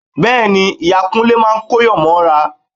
Bẹ́ẹ̀ ni, ìyá Kúnlé máa kóyàn mọ́ra